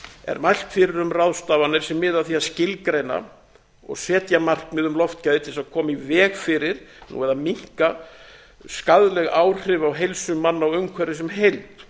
er mælt fyrir um ráðstafanir sem miða að því að skilgreina og setja markmið um loftgæði til þess að koma í veg fyrir eða minnka skaðleg áhrif á heilsu manna og umhverfi sem heild